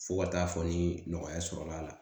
Fo ka taa fɔ ni nɔgɔya sɔrɔla la